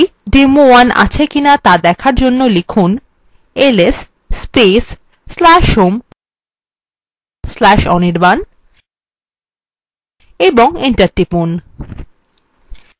আগের মতই demo1 আছে কিনা দেখার জন্য লিখুন